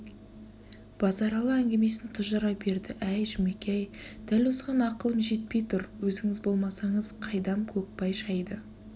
базаралы әңгімесін тұжыра берді әй жұмеке-ай дәл осыған ақылым жетпей тұр өзіңіз болмасаңыз қайдам көкбай шайды